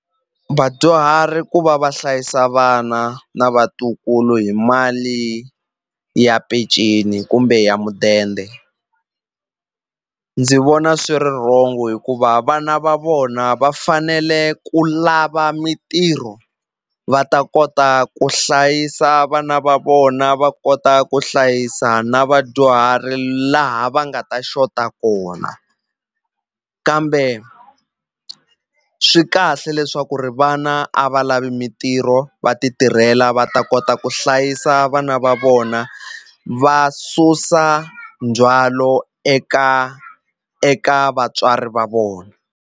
Vadyuhari ku va va hlayisa vana na vatukulu hi mali ya peceni kumbe ya mudende ndzi vona swi ri rhongo hikuva vana va vona va fanele ku lava mintirho va ta kota ku hlayisa vana va vona va kota ku hlayisa na vadyuhari laha va nga ta xota kona kambe swi kahle leswaku ri vana a va lavi mintirho va ti tirhela va ta kota ku hlayisa vana va vona va susa ndzwalo eka eka vatswari va vona.